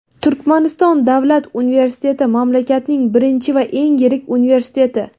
Turkmaniston davlat universiteti mamlakatning birinchi va eng yirik universiteti.